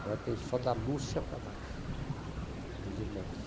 Agora tem só da Lúcia para baixo, meus irmãos.